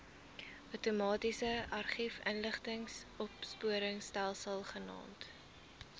outomatiese argiefinligtingsopspoorstelsel genaamd